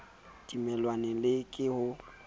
a timellwang le ke ho